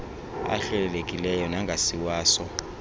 ahlelelekileyo nangasiwa so